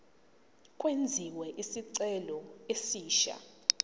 kwenziwe isicelo esisha